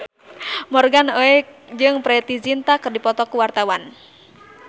Morgan Oey jeung Preity Zinta keur dipoto ku wartawan